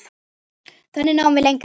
Þannig náum við lengra.